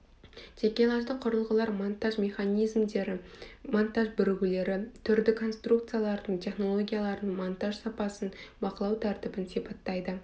такелажды құрылғылар монтаж механизмдері монтаж бірігулері түрді конструкциялардың технологияларының монтаж сапасын бақылау тәртібін сипаттайды